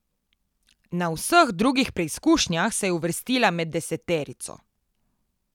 Na vseh drugih preizkušnjah se je uvrstila med deseterico.